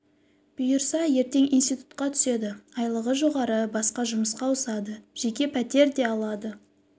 бұйырса ертең институтқа түседі айлығы жоғары басқа жұмысқа ауысады жеке пәтер де алады